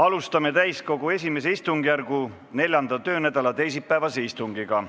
Alustame täiskogu I istungjärgu 4. töönädala teisipäevast istungit.